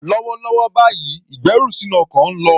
Lọ́wọ́lọ́wọ́ báyìí, ìgbẹ́rù sínú ọkọ̀ ń lọ.